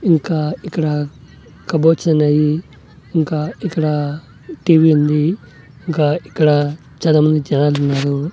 ఇంకా ఇక్కడ కబోర్డ్స్ అనేయి ఇంకా ఇక్కడ టీవీ ఉంది ఇంకా ఇక్కడ చాలామంది జనాలున్నారు.